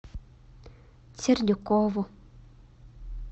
сердюкову